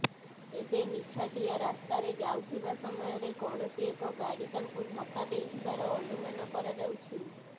ତେବେ ନିଛାଟିଆ ରାସ୍ତାରେ ଯାଉଥିବା ସମୟରେ କୌଣସି ଏକ ଗାଡ଼ି ତାଙ୍କୁ ଧକ୍କା ଦେଇଥିବାର ଅନୁମାନ କରାଯାଉଛି